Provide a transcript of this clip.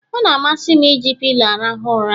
Ọ na-amasị m eji pilo m arahụ ụra